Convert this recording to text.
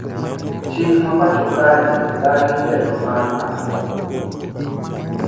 Chik mapacho kae odagi telo mar agoko